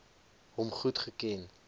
hom goed geken